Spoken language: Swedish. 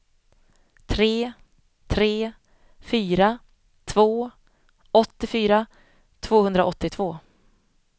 tre tre fyra två åttiofyra tvåhundraåttiotvå